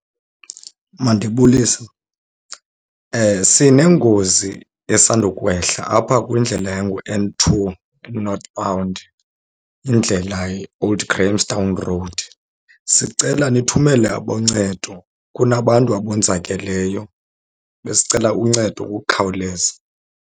Mandibulise. Sinengozi esandukwehla apha kwindlela enguN two kuNorthbound indlela iOld Grahamstown Road. Sicela nithumele aboncedo, kunabantu abonzakeleyo. Besicela uncedo ngokukhawuleza.